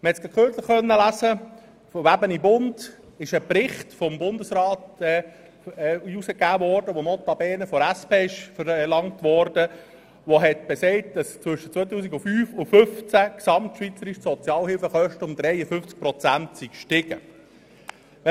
Im «Bund» war kürzlich über einen Bericht des Bundesrates zu lesen – der notabene von der SP verlangt worden war –, wonach die Sozialhilfekosten gesamtschweizerisch zwischen 2005 und 2015 um 53 Prozent gestiegen sind.